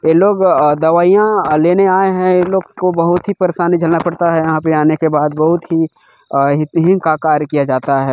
ये लोग अ दवाइयाँ अ लेने आए है ये लोग को बहुत ही परेशानी झेलना पड़ता है यहाँ पे आने के बाद बहुत ही अ हित हीन का कार्य किया जाता है।